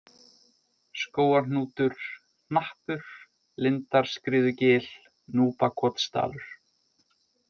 Skógarhnútur, Hnappur, Lindarskriðugil, Núpakotsdalur